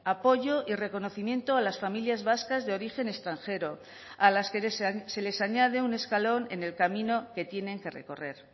apoyo y reconocimiento a las familias vascas de origen extranjero a las que se les añade un escalón en el camino que tienen que recorrer